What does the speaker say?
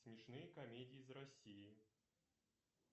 смешные комедии из россии